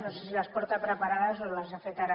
no sé si les porta preparades o les ha fet ara